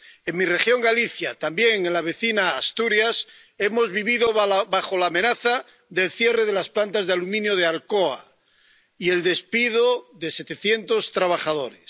En mi región, Galicia, y también en la vecina Asturias, hemos vivido bajo la amenaza del cierre de las plantas de aluminio de Alcoa y el despido de 700 trabajadores.